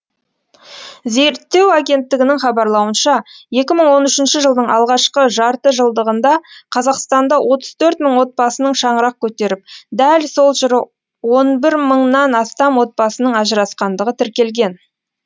зерттеу агенттігінің хабарлауынша екі мың он үшінші жылдың алғашқы жартыжылдығында қазақстанда отыз төрт мың отбасының шаңырақ көтеріп дәл сол жылы он бір мыңнан астам отбасының ажырасқандығы тіркелген